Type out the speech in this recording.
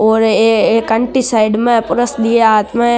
और ये एक आंटी साइड में पर्स लिए हाथ में।